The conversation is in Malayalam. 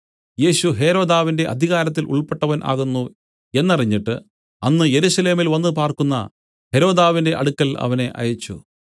യേശു ഹെരോദാവിന്റെ അധികാരത്തിൽ ഉൾപ്പെട്ടവൻ ആകുന്നു എന്നറിഞ്ഞിട്ട് അന്ന് യെരൂശലേമിൽ വന്നുപാർക്കുന്ന ഹെരോദാവിന്റെ അടുക്കൽ അവനെ അയച്ചു